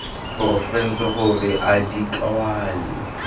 porofense gore a di kwale